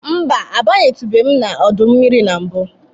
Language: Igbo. Mba, abanyetubeghị m n'ọdọ mmiri na mbụ.